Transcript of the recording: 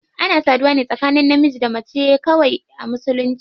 Ana saduwa ne tsakanin namiji da mace kawai a musulunci.